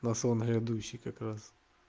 на сон грядущий как раз